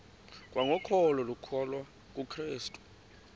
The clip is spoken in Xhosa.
kwangokholo lokukholwa kukrestu